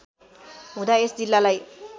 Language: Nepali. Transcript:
हुँदा यस जिल्लालाई